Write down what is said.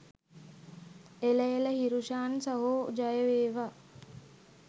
එළ එළ හිරුෂාන් සහෝ ජය වේවා